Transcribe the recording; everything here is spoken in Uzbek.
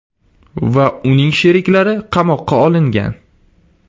va uning sheriklari qamoqqa olingan.